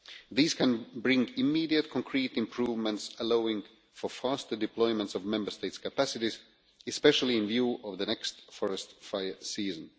These can bring immediate, concrete improvements, allowing for faster deployments of Member States' capacities, especially in view of the next forest fire season.